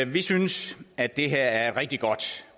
vi synes at det her er et rigtig godt